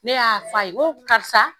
Ne y'a f'a ye n ko karisa